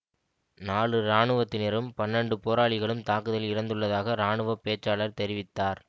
நாளு இராணுவத்தினரும் பன்னண்டு போராளிகளும் தாக்குதலில் இறந்துள்ளதாக இராணுவ பேச்சாளர் தெரிவித்தார்